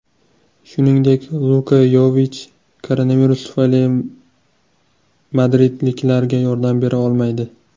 Shuningdek, Luka Yovich koronavirus tufayli madridliklarga yordam bera olmaydi.